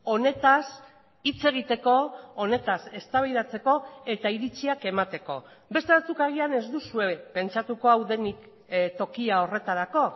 honetaz hitz egiteko honetaz eztabaidatzeko eta iritziak emateko beste batzuk agian ez duzue pentsatuko hau denik tokia horretarako